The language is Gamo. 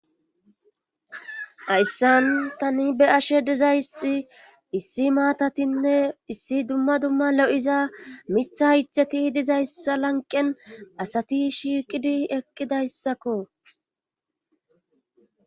Assan tani be ashe dizayssi issi maatatinne issi dumma dumma lo7iza mitha haytheti dizayssa lanqen asati shiiqidi eqqidayssakko.